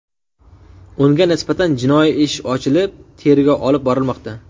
Unga nisbatan jinoiy ish ochilib, tergov olib borilmoqda.